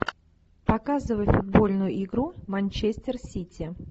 показывай футбольную игру манчестер сити